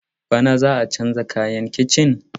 Bana za a canza mata kayan kicin?